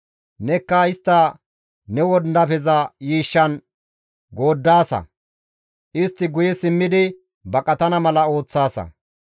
Nekka istta ne wondafeza yiishshan gooddaasa; istti guye simmidi baqatana mala ooththaasa.